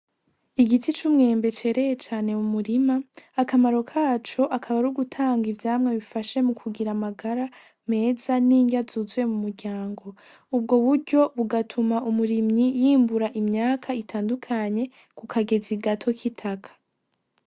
Igiti c'umwembe cereye cane mu murima, akamaro kaco akaba ari gutanga ivyamwa bifasha mu kugira amagara meza n'inrya zuzuye mu muryango. Ubwo buryo bugatuma umurimyi yimbura imyaka itandukanye kukagezi gato kitaka.